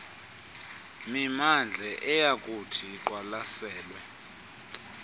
mimandla eyakuthi iqwalaselwe